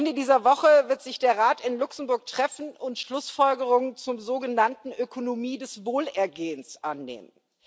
Ende dieser Woche wird sich der Rat in Luxemburg treffen und Schlussfolgerungen zur sogenannten Ökonomie des Wohlergehens annehmen.